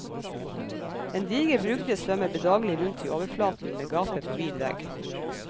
En diger brugde svømmer bedagelig rundt i overflaten med gapet på vid vegg.